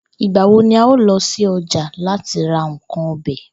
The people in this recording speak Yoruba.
Ìgbà wo ni a óò lo̩ sí o̩jà láti ra nǹkan o̩be̩?